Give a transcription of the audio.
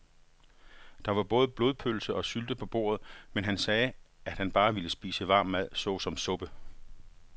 Der var både blodpølse og sylte på bordet, men han sagde, at han bare ville spise varm mad såsom suppe.